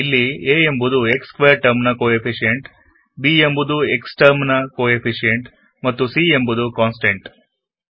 ಇಲ್ಲಿ a ಎಂಬುದು x squared term ನ ಕೋ ಎಫಿಶಿಯಂಟ್b ಎಂಬುದು x ನ ಕೋ ಎಫಿಶಿಯೆನ್ಟ್ ಮತ್ತು c ಎಂಬುದು ಕಾಂಸ್ಟೆಂಟ್